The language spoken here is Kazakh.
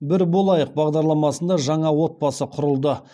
бір болайық бағдарламасында жаңа отбасы құрылды